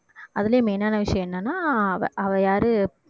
அதுலயும் main ஆன விஷயம் என்னன்னா அவ அவ யாரு